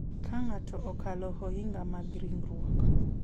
Ka ng’ato okalo ohinga mag ringruok,